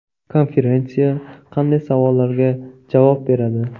Konferensiya qanday savollarga javob beradi?